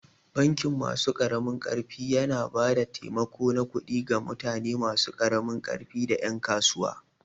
Bankin masu ƙaramin ƙarfi yana ba da taimako na kudi ga mutane masu karamin ƙarfi da ƴan kasuwa.